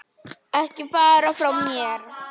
Ekki fara frá mér!